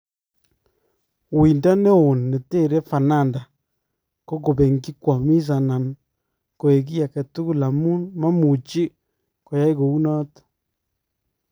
Wuindoo neon neteree Fernanda ko kopengyi kwamis anan koee kii agetukul amun mamuchi koyai kou noton